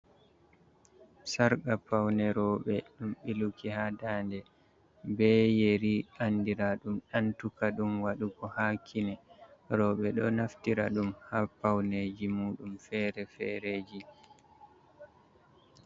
Sarka paune roɓe. Ɗum ɓiluki ha ɗanɗe be yeri andira ɗum antuka ɗum wadugo ha kine roɓe ɗo naftira ɗum ha pauneji muɗum fere-fereji.